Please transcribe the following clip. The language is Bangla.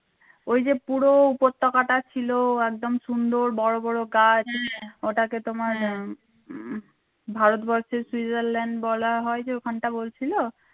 ওই যে পুরো উপত্যকাটা ছিল একদম সুন্দর বড় বড় গাছ ওটাকে তোমার উম ভারতবর্ষের switzerland বলা হয় যে ওখানটা বলছিল